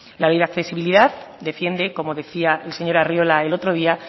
la ley de accesibilidad defiende como decía el señor arriola el otro día